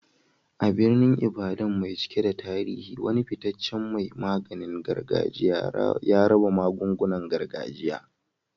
A birnin Ibadan mai cike da tarihi, wani fitaccen mai maganin gargajiya ya raba magungunan gargajiya.